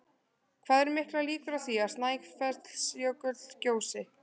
Hvað eru miklar líkur á því að Snæfellsjökull gjósi?